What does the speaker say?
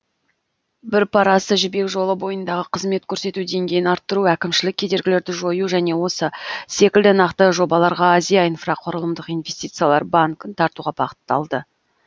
бір парасы жібек жолы бойындағы қызмет көрсету деңгейін арттыру әкімшілік кедергілерді жою және осы секілді нақты жобаларға азия инфрақұрылымдық инвестициялар банкін тартуға бағытталды